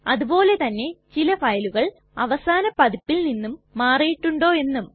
അതുപോലെ തന്നെ ചില ഫയലുകൾ അവസാന പതിപ്പിൽ നിന്നും മാറിയിട്ടുണ്ടോ എന്നും